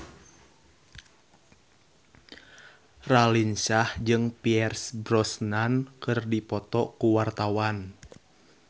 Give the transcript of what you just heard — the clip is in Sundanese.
Raline Shah jeung Pierce Brosnan keur dipoto ku wartawan